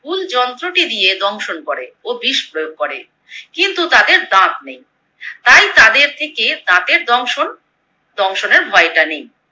হুল যন্ত্রটি দিয়ে দংশন করে ও বিষ প্রয়োগ করে। কিন্তু তাদের দাঁত নেই। তাই তাদের থেকে দাঁতের দংশন দংশনের ভয়টা নেই।